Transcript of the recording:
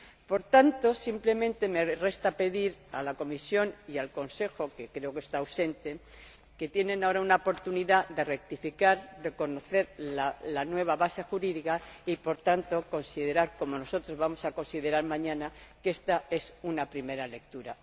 Por tanto, simplemente me resta decir a la Comisión y al Consejo —que creo que está ausente— que tienen ahora una oportunidad de rectificar y reconocer la nueva base jurídica, y, por tanto, considerar, como nosotros vamos a considerar mañana, que ésta es una primera lectura.